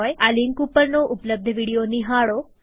આ લિંક ઉપરનો ઉપલબ્ધ વિડીયો નિહાળો